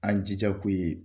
An jija ko ye